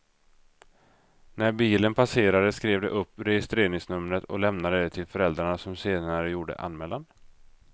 När bilen passerade skrev de upp registreringsnumret och lämnade det till föräldrarna som senare gjorde anmälan.